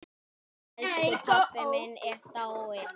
Elsku pabbi minn er dáinn.